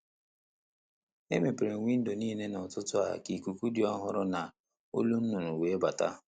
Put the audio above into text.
Emepere m windo niile n'ụtụtụ a ka ikuku dị ọhụrụ na olu nnụnụ wee bata.